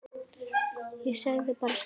Ég sagði bara strax já.